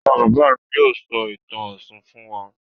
Bàbá-bàbá mi yóò sọ ìtàn Ọ̀ṣun fún wa.